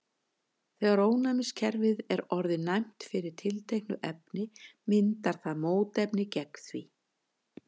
þegar ónæmiskerfið er orðið næmt fyrir tilteknu efni myndar það mótefni gegn því